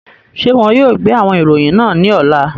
Ṣe wọn yóò gbe awọn iroyin naa ni ọla?